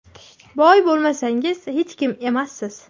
Boy bo‘lmasangiz, hech kim emassiz.